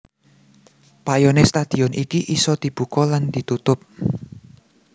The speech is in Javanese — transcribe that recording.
Payone stadion iki isa dibuka lan ditutup